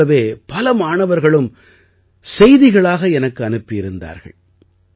இதைப் போலவே பல மாணவர்களும் செய்திகளாக எனக்கு அனுப்பி இருந்தார்கள்